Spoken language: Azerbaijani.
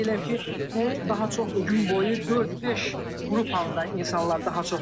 Qeyd edirəm ki, bu daha çox gün boyu dörd-beş qrup halında insanlar daha çox gəlir.